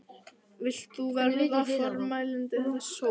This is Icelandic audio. Vilt þú verða formælandi þess hóps?